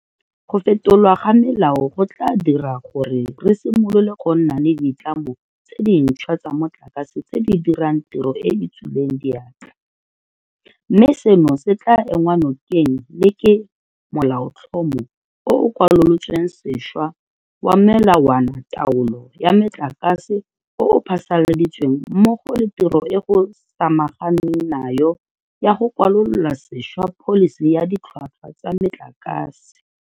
Go fetolwa ga melao go tla dira gore re simolole go nna le ditlamo tse dintšhwa tsa motlakase tse di dirang tiro e e tswileng diatla, mme seno se tla enngwa nokeng le ke Molaotlhomo o o Kwalolotsweng Sešwa wa Melawanataolo ya Metlakase o o phasaladitsweng mmogo le tiro e go samaganweng nayo ya go kwalola sešwa Pholisi ya Ditlhwatlhwa tsa Metlakase.